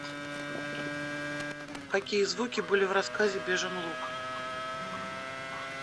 какие звуки были в рассказе бежин луг